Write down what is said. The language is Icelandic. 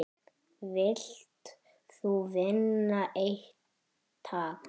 Vilt þú vinna eintak?